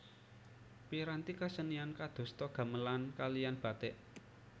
Piranti kesenian kadosta gamelan kaliyan batik